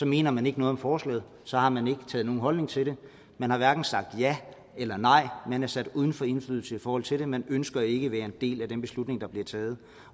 mener man ikke noget om forslaget så har man ikke indtaget nogen holdning til det man har hverken sagt ja eller nej man er sat uden for indflydelse i forhold til det man ønsker ikke at være en del af den beslutning der bliver taget